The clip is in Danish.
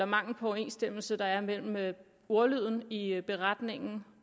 mangel på overensstemmelse der er mellem ordlyden i beretningen